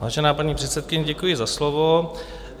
Vážená paní předsedkyně, děkuji za slovo.